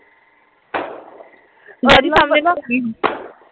daddy ਸਾਹਮਣੇ ਵੀ